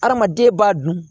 Hadamaden b'a dun